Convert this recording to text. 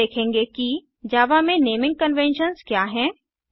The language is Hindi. अब हम देखेंगे कि जावा में नेमिंग कन्वेन्शन्स क्या हैं